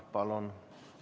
Palun!